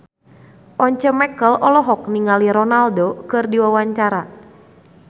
Once Mekel olohok ningali Ronaldo keur diwawancara